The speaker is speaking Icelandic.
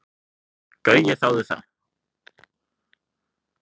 Gaui þáði það.